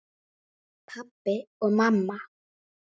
Og svo mætti áfram telja.